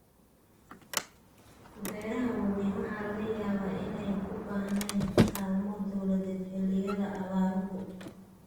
Beeraha waaweyni waxa laga yaabaa inaanay u baahnayn kaalmo dawladeed xilliyada abaaruhu.